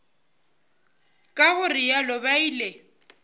ka go realo ba ile